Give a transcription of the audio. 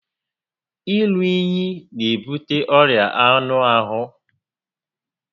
Iru únyí n'ebute ọrịa anụ ahụ